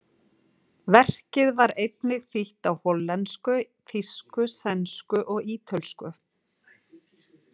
Verkið var einnig þýtt á hollensku, þýsku, sænsku og ítölsku.